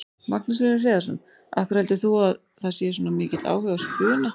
Magnús Hlynur Hreiðarsson: Af hverju heldur þú að sé svona mikill áhugi á spuna?